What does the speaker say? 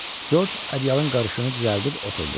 Corc Adyalın qarşısını düzəldib oturdu.